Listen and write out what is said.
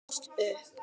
Sest upp.